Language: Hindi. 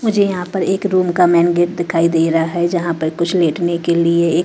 मुझे यहां पर एक रूम का मैंन गेट दिखाई दे रहा है जहां पर कुछ लेटने के लिए--